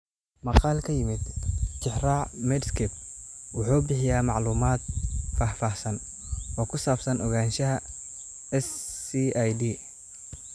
Maqaal ka yimid Tixraaca Medscape wuxuu bixiyaa macluumaad faahfaahsan oo ku saabsan ogaanshaha SCID.